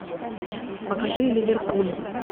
покажи ливерпуль